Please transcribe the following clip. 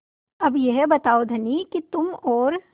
अब यह बताओ धनी कि तुम और